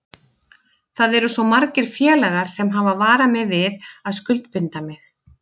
Það eru svo margir félagar sem hafa varað mig við að skuldbinda mig.